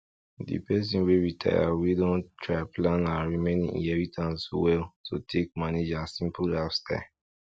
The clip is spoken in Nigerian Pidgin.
di person wey retire wey don try plan her remaining inheritance well to take manage her simple lifestyle